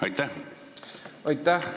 Aitäh!